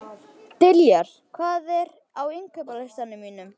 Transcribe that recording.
Diljar, hvað er á innkaupalistanum mínum?